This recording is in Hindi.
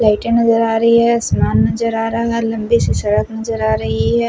लाइटे नज़र आ रही है आसमान नज़र आ रहा है लम्बी सी सड़क नज़र आ रही है।